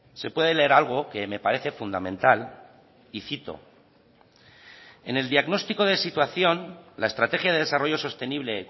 se puede leer algo que me parece fundamental y cito en el diagnóstico de situación la estrategia de desarrollo sostenible